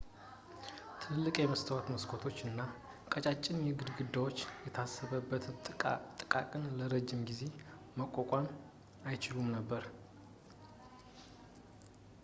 ትልልቅ የመስታወት መስኮቶች እና ቀጫጭን ግድግዳዎች የታሰበበት ጥቃትን ለረጅም ጊዜ መቋቋም አይችሉም ነበር